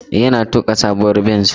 Yana tuka sabuwar benz.